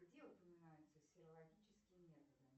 где упоминаются серологические методы